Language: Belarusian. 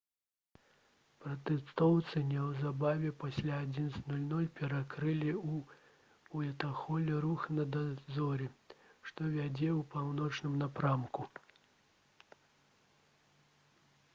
пратэстоўцы неўзабаве пасля 11:00 перакрылі у уайтхоле рух на дарозе што вядзе ў паўночным напрамку